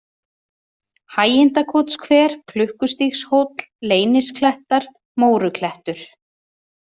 Hægindakotshver, Klukkustígshóll, Leynisklettar, Móruklettur